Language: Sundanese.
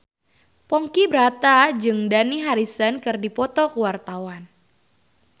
Ponky Brata jeung Dani Harrison keur dipoto ku wartawan